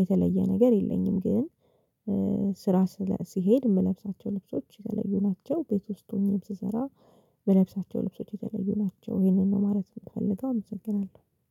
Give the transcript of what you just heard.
የተለየ ነገር የለኝም ግን። ስራ ስለ ስሄድ የምለብሳቸው ልብሶች የተለዩ ናቸው ቤት ውስጥ ሆኜ ስሰራ የምለብሳቸው ልብሶች የተለዩ ናቸው። ይህንን ነው ማለት የምፈልገው አመሰግናለሁ